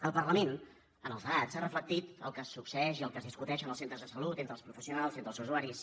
el parlament en els debats ha reflectit el que succeeix i el que es discuteix en els centres de salut entre els professionals i entre els usuaris